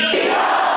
İran!